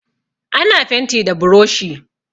Ana fenti da buroshi.